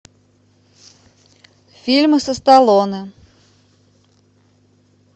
фильмы со сталлоне